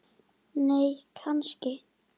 nei kannski